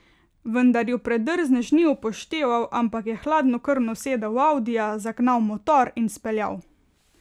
Vendar ju predrznež ni upošteval, ampak je hladnokrvno sedel v audija, zagnal motor in speljal.